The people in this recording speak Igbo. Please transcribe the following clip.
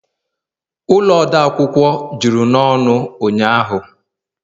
ụlọ odeakwụkwọ juru n'ọnụ ụnyahụ